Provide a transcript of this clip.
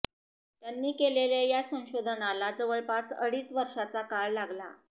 त्यांनी केलेल्या या संशोधनाला जवळपास अडीच वर्षांचा काळ लागला